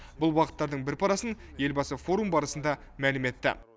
бұл бағыттардың бір парасын елбасы форум барысында мәлім етті